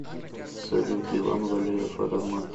салют иван валеев аромат